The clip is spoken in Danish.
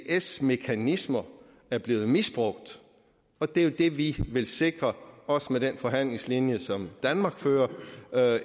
isds mekanismer er blevet misbrugt og det er jo det vi vil sikre også med den forhandlingslinje som danmark fører